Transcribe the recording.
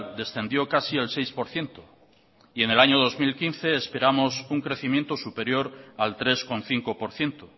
descendió casi el seis por ciento y en el año dos mil quince esperamos un crecimiento superior al tres coma cinco por ciento